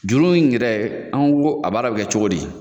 Juru in yɛrɛ an ko a baara bɛ kɛ cogo di